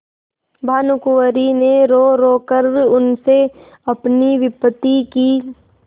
भानुकुँवरि ने रोरो कर उनसे अपनी विपत्ति की